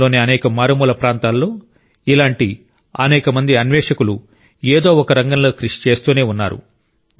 దేశంలోని అనేక మారుమూల ప్రాంతాల్లో ఇలాంటి అనేక మంది అన్వేషకులు ఏదో ఒక రంగంలో కృషి చేస్తూనే ఉన్నారు